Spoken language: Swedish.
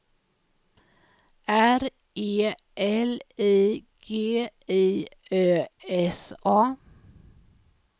R E L I G I Ö S A